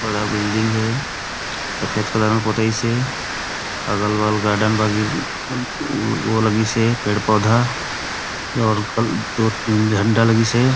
बड़े बिल्डिंग हे सफ़ेद कलर में पोताईस हे अगल-बगल गार्डन बागी में ओ लगिस हे पेड़-पौधा और दो तीन घंटा लगीस हे।